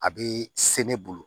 A bɛ se ne bolo